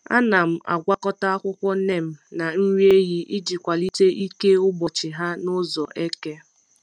Ana m agwakọta akwụkwọ neem na nri ehi iji kwalite ike mgbochi ha n’ụzọ eke.